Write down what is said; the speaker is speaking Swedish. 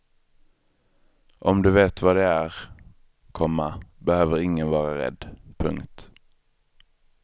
Om du vet vad det är, komma behöver ingen vara rädd. punkt